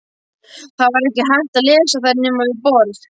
Það var ekki hægt að lesa þær nema við borð.